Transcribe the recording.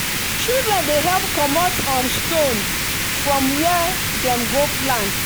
children dey help comot um stone from where dem go plant.